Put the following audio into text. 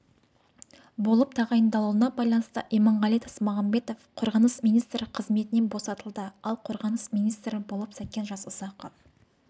болып тағайындалуына байланысты иманғали тасмағамбатов қорғаныс министрі қызметінен босатылды ал қорғаныс министрі болып сәкен жасұзақов